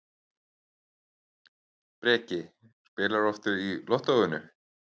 Breki: Spilarðu oft í Lottóinu?